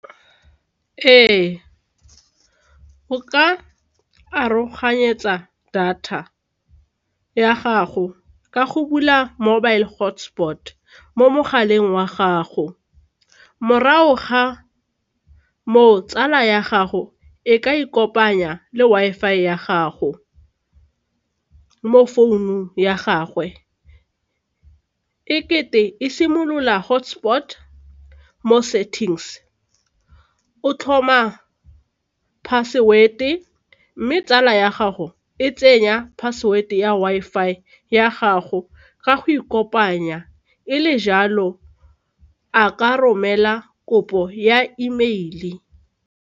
Ee, o ka aroganyetsa data ya gago ka go bula mobile hotspot mo mogaleng wa gago morago ga tsala ya gago e ka e kopanya le Wi-Fi ya gago mo founung ya gagwe e simolola hotspot mo settings o tlhoma password-e mme tsala ya gago e tsenya password ya Wi-Fi ya gago ka go ikopanya e le jalo a ka romela kopo ya email-e.